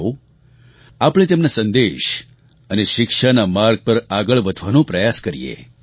આવો આપણે તેમના સંદેશ અને શિક્ષાનાં માર્ગ પર આગળ વધવાનો પ્રયાસ કરીએ